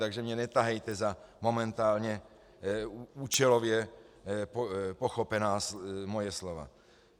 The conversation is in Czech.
Takže mě netahejte za momentálně účelově pochopená moje slova.